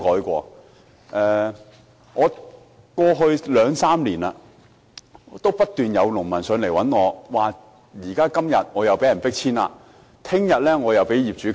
過去兩三年，有農民向我求助，表示他們今天被迫遷了，或明天又被業主加租。